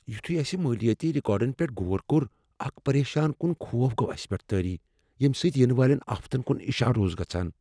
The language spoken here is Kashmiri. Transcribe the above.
یوتھیو اسِہ مالیٲتی ریکارڈن پیٹھ غور کوٚر، اکھ پریشان کن خوف گو اسِہ پٮ۪ٹھ تٲری، ییمہٕ سۭتۍ ینہٕ والٮ۪ن آفتن کن اشارٕ اوس گژھان۔